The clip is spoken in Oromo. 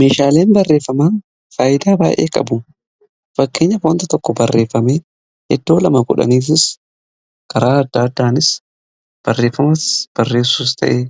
Meshaaleen barreeffamaa faayidaa baa'ee qabu fakkeenya waanta tokko barreeffame iddoo lama yookiinis garaa adda addaanis barreeffamas barreessus ta'ee